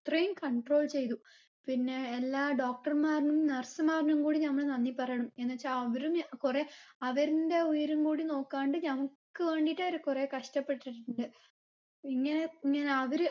അത്രയും control ചെയ്തു പിന്നെ എല്ലാ doctor മാരിനും nurse മാരിനും കൂടി ഞങ്ങൾ നന്ദി പാറിയണം എന്ന് വച്ചാ അവരും ഞ കുറേ അവരിന്റെ ഉയരം കൂടി നോക്കാണ്ട് ഞങ്ങക്ക് വേണ്ടിട്ട് ഓര് കുറേ കഷ്ടപെട്ടിട്ടിണ്ട് ഇങ്ങനെ ഇങ്ങനെ അവര്